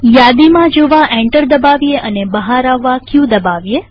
યાદીમાં જોવા એન્ટર દબાવીએ અને બહાર આવવા ક દબાવીએ